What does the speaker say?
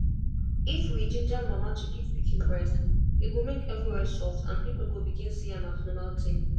if we ginger mama to give pikin breast e go make everywhere soft and people go begin see am as normal tin.